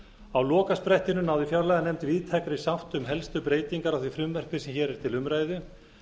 á lokasprettinum náði fjárlaganefnd víðtækri sátt um helstu breytingar á því frumvarpi sem hér er til umræðu